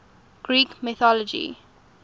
greek mythology